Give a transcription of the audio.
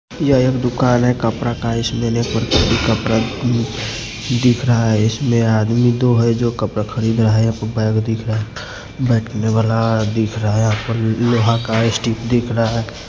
यह एक दुकान है कपड़ा का इसमें कपड़ा दिख रहा है इसमें आदमी दो है जो कपड़ा खरीद रहा है आपको बैग दिख रहा है बैठने वाला दिख रहा है यहां पर लोहा का स्टुल दिख रहा है।